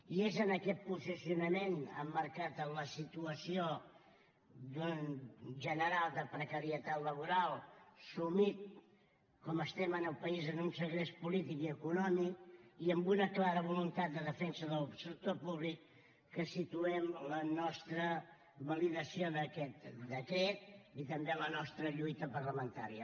i és en aquest posicionament emmarcat en la situació general de precarietat laboral sumit com estem en el país en un segrest polític i econòmic i amb una clara voluntat de defensa del sector públic que situem la nostra validació d’aquest decret i també la nostra lluita parlamentària